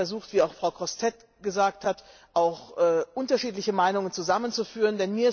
Ich habe versucht, wie auch Frau Grossêtete gesagt hat, unterschiedliche Meinungen zusammenzuführen.